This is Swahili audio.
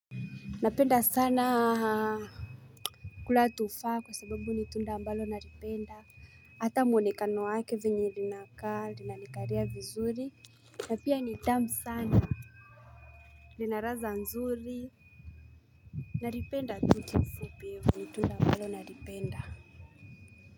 Napenda sana kula tufaha kwa sababu ni tunda mbalo nalipenda. Hata mwonekano wake venye linakaa lnalikalia vizuri. Na pia ni tamu sana. Lina ladha nzuri. Nalipenda tu kiufupi ni tunda ambalo nalipenda.